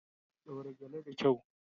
Daura gele da kyau.